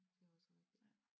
Det er også rigtigt